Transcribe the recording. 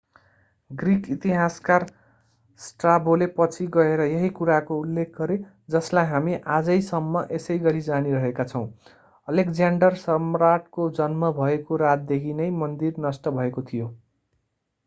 Greek इतिहासकार स्ट्राबोले पछि गएर यही कुराको उल्लेख गरे जसलाई हामी आजैसम्म यसैगरि जानीरहेका छौं अलेक्ज्याण्डर सम्राटको जन्म भएको रातदेखि नै मन्दिर नष्ट भएको थियो